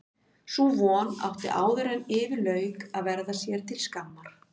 Sú von átti áðuren yfir lauk eftir að verða sér til skammar.